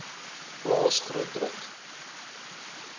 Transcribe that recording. plaas groot druk